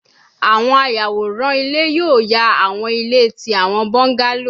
Awọn ayaworan ile yoo fa awọn ile ti awọn bungalow